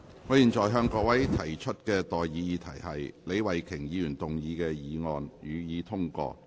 我現在向各位提出的待議議題是：李慧琼議員動議的議案，予以通過。